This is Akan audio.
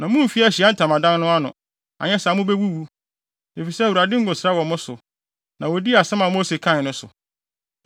Na mummfi Ahyiae Ntamadan no ano, anyɛ saa a mubewuwu, efisɛ Awurade ngosra wɔ mo so.” Na wodii asɛm a Mose kae no so.